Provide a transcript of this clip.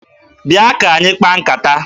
Bịa ka anyị kpaa nkata!